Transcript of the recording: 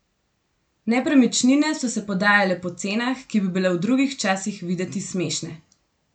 Nepremičnine so se prodajale po cenah, ki bi bile v drugih časih videti smešne.